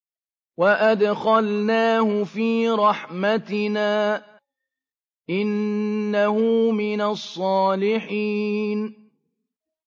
وَأَدْخَلْنَاهُ فِي رَحْمَتِنَا ۖ إِنَّهُ مِنَ الصَّالِحِينَ